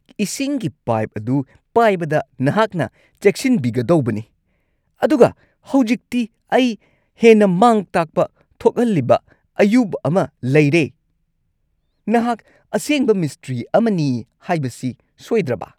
ꯏꯁꯤꯡꯒꯤ ꯄꯥꯏꯞ ꯑꯗꯨ ꯄꯥꯏꯕꯗ ꯅꯍꯥꯛꯅ ꯆꯦꯛꯁꯤꯟꯕꯤꯒꯗꯧꯕꯅꯤ, ꯑꯗꯨꯒ ꯍꯧꯖꯤꯛꯇꯤ ꯑꯩ ꯍꯦꯟꯅ ꯃꯥꯡ-ꯇꯥꯛꯄ ꯊꯣꯛꯍꯜꯂꯤꯕ ꯑꯌꯨꯕ ꯑꯃ ꯂꯩꯔꯦ! ꯅꯍꯥꯛ ꯑꯁꯦꯡꯕ ꯃꯤꯁꯇ꯭ꯔꯤ ꯑꯃꯅꯤ ꯍꯥꯏꯕꯁꯤ ꯁꯣꯏꯗ꯭ꯔꯕ?